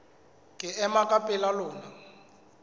ke ema ka pela lona